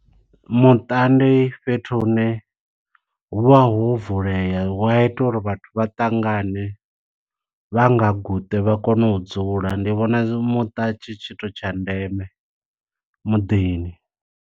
Muṱa ndi fhethu hune, hu vha ho vulea, hu a ita uri vhathu vha ṱangane, vha nga guṱe vha kone u dzula. Ndi vhona muṱa tshi tshithu tsha ndeme muḓini.